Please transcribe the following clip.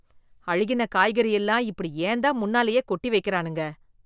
அழுகின காய்கறி எல்லாம் இப்படி ஏன்தான் முன்னாலேயே கொட்டி வெக்கறானுங்க?